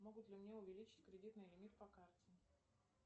могут ли мне увеличить кредитный лимит по карте